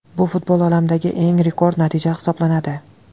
Bu futbol olamidagi eng rekord natija hisoblanadi.